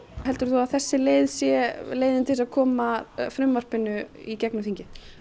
heldur þú að þessi leið sé leiðin til að koma frumvarpinu í gegnum þingið